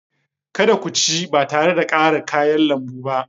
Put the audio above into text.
Kada ku ci ba tare da ƙara kayan lambu ba!